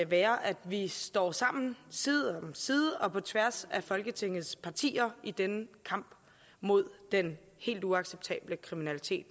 være at vi står sammen side om side og på tværs af folketingets partier i denne kamp mod den helt uacceptable kriminalitet